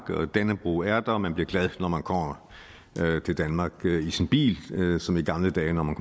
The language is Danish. dannebrog er der og man bliver glad når man kommer til danmark i sin bil som i gamle dage når man